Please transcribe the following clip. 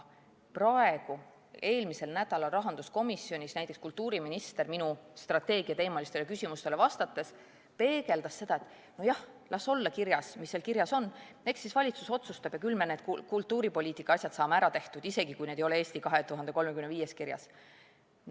Eelmisel nädalal rahanduskomisjonis näiteks kultuuriminister minu strateegiateemalistele küsimustele vastates peegeldas seda nii, et nojah, las olla kirjas, mis seal kirjas on, eks siis valitsus otsustab ja küll me need kultuuripoliitikaasjad saame ära tehtud, isegi kui need ei ole "Eesti 2035-s" kirjas.